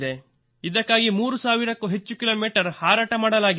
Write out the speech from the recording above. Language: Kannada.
ಇದಕ್ಕಾಗಿ 3 ಸಾವಿರಕ್ಕೂ ಹೆಚ್ಚು ಕಿ ಮೀ ಹಾರಾಟ ಮಾಡಲಾಗಿದೆ